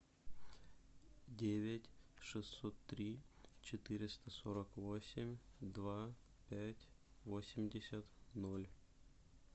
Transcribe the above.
девять шестьсот три четыреста сорок восемь два пять восемьдесят ноль